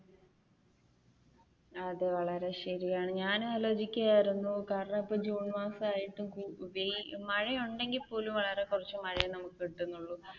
അത് വളരെ ശരിയാണ് ഞാൻ ആലോചിക്കുകയായിരുന്നു കാരണം ഇപ്പൊ ജൂൺ മാസമായിട്ട് മഴയുണ്ടെങ്കിൽ പോലും വളരെ കുറച്ചു മഴയെ നമുക്ക് കിട്ടുന്നുള്ളു